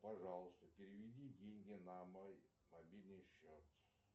пожалуйста переведи деньги на мой мобильный счет